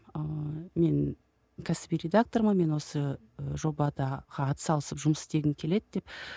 ыыы мен кәсіби редактормын мен осы жобада ат салысып жұмыс істегім келеді деп